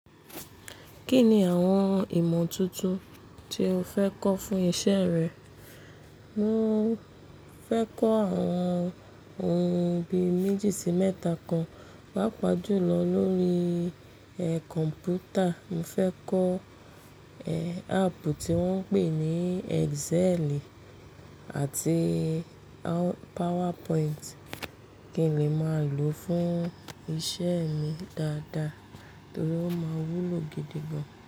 Kí ni àwọn ìmọ̀ tuntun tí o fẹ́ kọ́ fún iṣẹ́ rẹ? Mo fẹ́ kọ́ àwọn ohun bí méjì sí mẹ́ta kan, páápaá julọ lórí, e, kọ̀m̀pútà. Mo fẹ́ kọ́, e, áàpù tí wọ́n ń pè ní Excel àti PowerPoint, kí n lè máa lò fún iṣẹ́ mi dáadáa torí ó máa wúlò gidi gan.